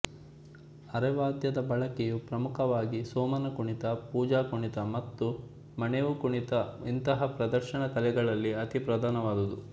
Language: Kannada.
ಅರೆವಾದ್ಯದ ಬಳಕೆಯು ಪ್ರಮುಖವಾಗಿ ಸೋಮನ ಕುಣಿತ ಪೂಜಾ ಕುಣಿತ ಮತ್ತು ಮಣೇವು ಕುಣಿತ ಇಂತಹ ಪ್ರದರ್ಶನ ಕಲೆಗಳಲ್ಲಿ ಅತೀ ಪ್ರಧಾನವಾದುದು